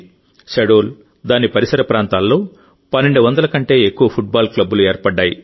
శహడోల్ దాని పరిసర ప్రాంతాల్లో 1200 కంటే ఎక్కువ ఫుట్బాల్ క్లబ్బులు ఏర్పడ్డాయి